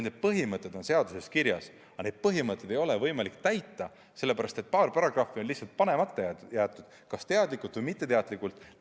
Need põhimõtted on seaduses kirjas, aga neid põhimõtteid ei ole võimalik järgida, sellepärast et paar paragrahvi on lihtsalt panemata jäetud, kas teadlikult või mitteteadlikult.